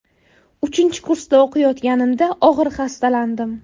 Uchinchi kursda o‘qiyotganimda og‘ir xastalandim.